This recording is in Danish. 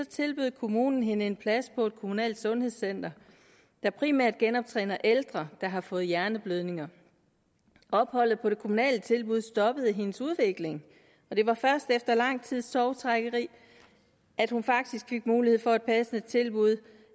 tilbød kommunen hende en plads på et kommunalt sundhedscenter der primært genoptræner ældre der har fået hjerneblødning opholdet på det kommunale tilbud stoppede hendes udvikling og det var først efter lang tids tovtrækkeri at hun faktisk fik mulighed for et passende tilbud